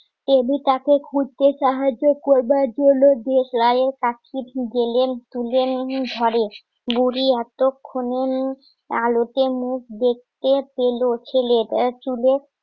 তাকে খুঁজতে সাহায্য করবার জন্য যে লাইনে বুড়ি এতক্ষণে আলোতে মুখ দেখতে পেলো ছেলেটা চুলে